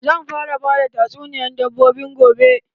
Zan fara bada tasuniyan dabbobi gobe.